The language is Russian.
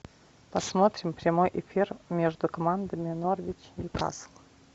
посмотрим прямой эфир между командами норвич ньюкасл